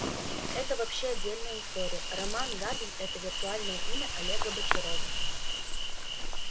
это вообще отдельная история роман габин это виртуальное имя олега бочарова